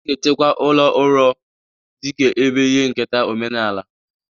A ga-echekwa ụlọ uro dị ka ebe ihe nketa omenala.